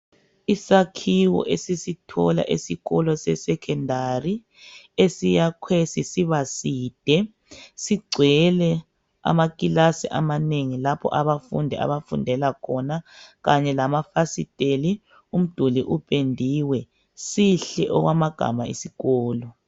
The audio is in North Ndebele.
Isakhiwo esisithola esikolo se"Secondary " esiyakhwe sisiba side, sigcwele amakilasi amanengi lapho abafundi abafundela khona kanye lamafasiteli umduli upendiwe. Sihle okwamagama isikolo.